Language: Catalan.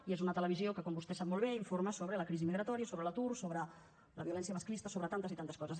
i és una televisió que com vostè sap molt bé informa sobre la crisi migratòria sobre l’atur sobre la violència masclista sobre tantes i tantes coses